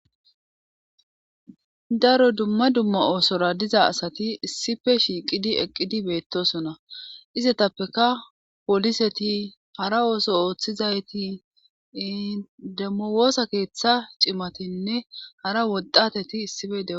Daro dumma dumma oosora diza asati issife shiiqidi eqqidi beettosona izetappeka poliseti hara ooso ooththizayti demmo woosa keeththa cimatinne hara woddateti issife deo..